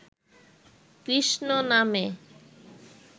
কৃষ্ণনামে